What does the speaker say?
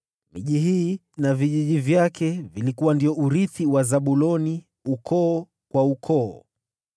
Miji hii na vijiji vyake ilikuwa ndio urithi wa Zabuloni, ukoo kwa ukoo.